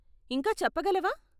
ఇంకా చెప్పగలవా?